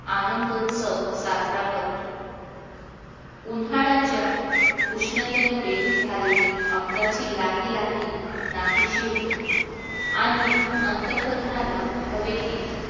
आनंदोत्सव साजरा करतो. उन्हाळ्याच्या उष्णतेमुळे झालेली अंगाची लाही लाही नाहीशी होते आणि अंतःकरणाला हवेतील